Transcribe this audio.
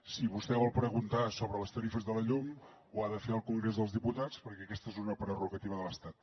si vostè vol preguntar sobre les tarifes de la llum ho ha de fer al congrés dels diputats perquè aquesta és una prerrogativa de l’estat